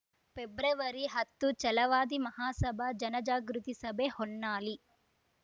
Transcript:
February ಹತ್ತು ಛಲವಾದಿ ಮಹಾಸಭಾ ಜನಜಾಗೃತಿ ಸಭೆ ಹೊನ್ನಾಳಿ